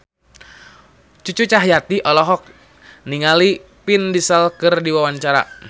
Cucu Cahyati olohok ningali Vin Diesel keur diwawancara